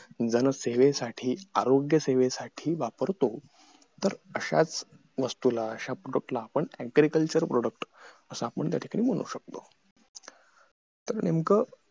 जनसेवेसाठी आरोग्यसेवेसाठी वापरतो तर अश्याच वस्तूला अश्या product ला agriculture product असं आपण त्या ठिकाणी म्हणू शकतो